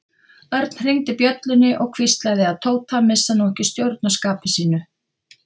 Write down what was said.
Örn hringdi bjöllunni og hvíslaði að Tóta að missa nú ekki stjórn á skapi sínu.